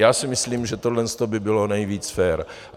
Já si myslím, že tohle by bylo nejvíc fér.